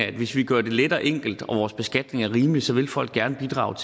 at hvis vi gør det let og enkelt og vores beskatning er rimelig så vil folk gerne bidrage